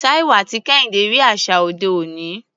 Taiwo àti Kehinde rí àṣà òde òní.